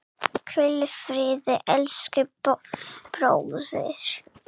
Hvíl í friði elsku bróðir.